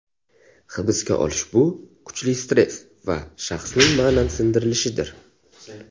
Hibsga olish bu kuchli stress va shaxsning ma’nan sindirilishidir.